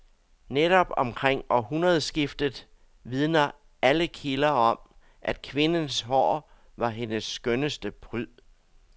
Netop omkring århundredskiftet vidner alle kilder om, at kvindens hår var hendes skønneste pryd.